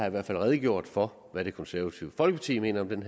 i hvert fald redegjort for hvad det konservative folkeparti mener om den